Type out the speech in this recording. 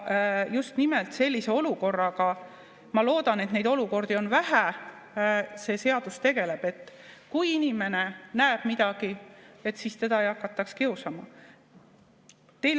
Just nimelt sellise olukorraga – ma loodan, et neid olukordi on vähe – see seadus tegeleb, et kui inimene näeb midagi, siis teda ei hakataks kiusama.